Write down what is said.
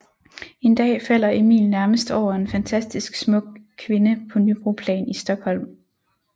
En dag falder Emil nærmest over en fantastisk smuk kvinde på Nybroplan i Stockholm